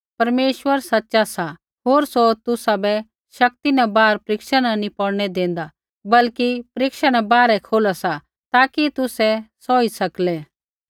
परमेश्वर सच़ा सा होर सौ तुसाबै शक्ति न बाहर परिक्षा न नी पौड़नै देंदा बल्कि परीक्षा न बाहरै खोला सा ताकि तुसै सौही सकलै